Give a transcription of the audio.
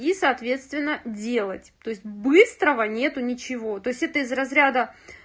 и соответственно делать то есть быстрого нет ничего то есть это из разряда